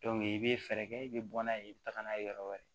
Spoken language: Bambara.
i bɛ fɛɛrɛ kɛ i bɛ bɔ n'a ye i bɛ taga n'a ye yɔrɔ wɛrɛ